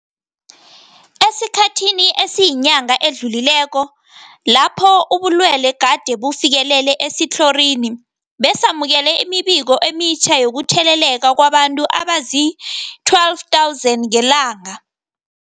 Esikhathini esiyinyanga esidlulileko lapho ubulwele gade bufikelele esitlhorini, besamukela imibiko emitjha yokutheleleka kwabantu abazii-12 000 ngelanga.